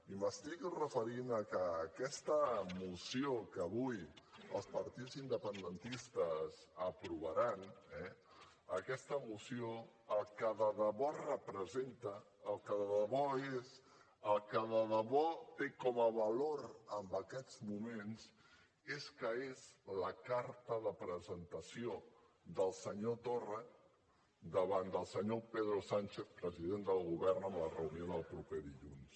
i m’estic referint a que aquesta moció que avui els partits independentistes aprovaran eh aquesta moció el que de debò representa el que de debò té com a valor en aquests moments és que és la carta de presentació del senyor torra davant del senyor pedro sánchez president del govern en la reunió del proper dilluns